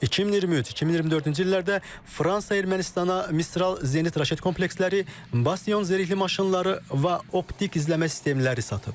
2023-2024-cü illərdə Fransa Ermənistana Mistral Zenit raşet kompleksləri, Bastiyon zirehli maşınları və optik izləmə sistemləri satıb.